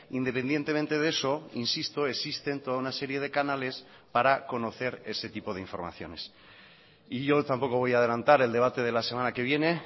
independientemente de eso insisto existen toda una serie de canales para conocer ese tipo de informaciones y yo tampoco voy a adelantar el debate de la semana que viene